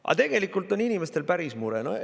" Aga tegelikult on inimestel päris mure.